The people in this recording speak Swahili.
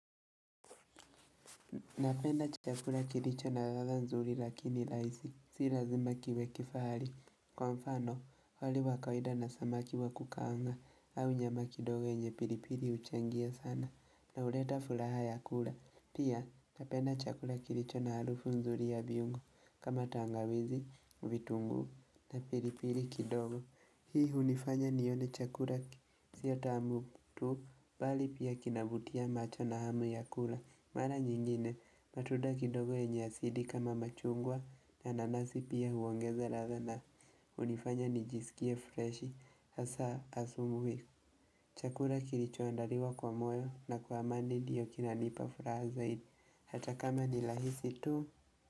Napenda chakula kilicho na ladha nzuri lakini rahisi, si lazima kiwe kifahari Kwa mfano, wali wa kawida na samaki wa kukaanga, au nyama kidogo yenye pilipili huchangia sana, na huleta furaha ya kula. Pia, napenda chakula kilicho na harufu nzuri ya viungo, kama tangawizi, vitunguu, na pilipili kidogo Hii hunifanya nione chakula sio tamu tu, bali pia kinavutia macho na hamu ya kula. Mara nyingine matunda kidogo yenye asidi kama machungwa na nanasi pia huongeza ladha na hunifanya nijisikie freshi hasa asubuhi Chakula kilichoandaliwa kwa moyo na kwa amani ndiyo kinanipa furaha zaidi hata kama ni rahisi tu.